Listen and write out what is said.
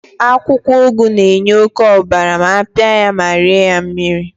akwukwo ugu na-enye oke obara ma apiapia ya ma rie ya mmiri